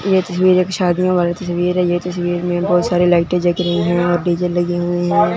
ये तस्वीर एक शादियों वाले तस्वीर है ये तस्वीर में बहोत सारी लाइटे जग रही है और डी_जे लगी हुई है।